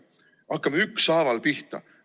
Hakkame ükshaaval pihta!